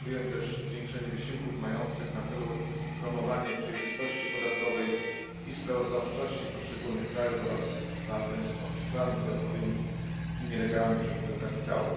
Postulujemy też zwiększenie wysiłków mających na celu promowanie przejrzystości podatkowej i sprawozdawczości poszczególnych krajów oraz walkę z oszustwami podatkowymi i nielegalnym przepływem kapitału.